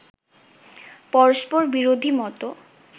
পরস্পর বিরোধী মত